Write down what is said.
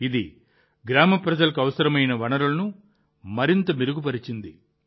ఇది గ్రామ ప్రజలకు అవసరమైన వనరులను మరింత మెరుగుపరిచింది